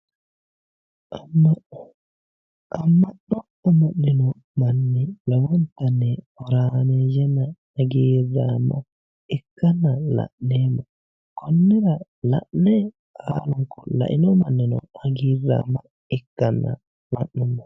Amma'no amma'nino manni horaameeyyenna hagiirraame ikkanna la'neemmo. konnira laino mannino hagiidhanna la'neemmo.